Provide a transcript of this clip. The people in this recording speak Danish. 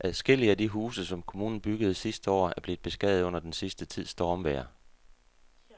Adskillige af de huse, som kommunen byggede sidste år, er blevet beskadiget under den sidste tids stormvejr.